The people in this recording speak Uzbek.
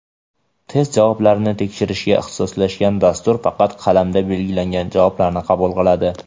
Test javoblarini tekshirishga ixtisoslashgan dastur faqat qalamda belgilangan javoblarni qabul qiladi;.